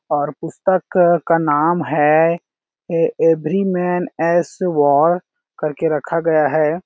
और पुस्तक क का नाम है य एव्री मैन एस वॉर कर के रखा गया है।